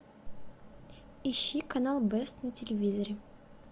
ищи канал бест на телевизоре